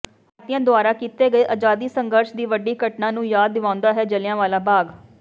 ਭਾਰਤੀਆਂ ਦੁਆਰਾ ਕੀਤੇ ਗਏ ਅਜ਼ਾਦੀ ਸੰਘਰਸ ਦੀ ਵੱਡੀ ਘਟਨਾ ਨੂੰ ਯਾਦ ਦਿਵਾਉਂਦਾ ਹੈ ਜਲ੍ਹਿਆਂਵਾਲਾ ਬਾਗ